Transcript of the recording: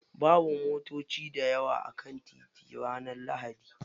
Babu motoci dayawa a kan titi ranar lahadi.